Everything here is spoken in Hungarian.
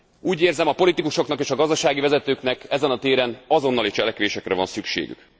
Úgy érzem a politikusoknak és a gazdasági vezetőknek ezen a téren azonnali cselekvésekre van szükségük.